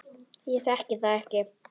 Ég þekki það ekki.